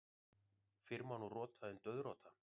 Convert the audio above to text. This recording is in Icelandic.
Fyrr má nú rota en dauðrota.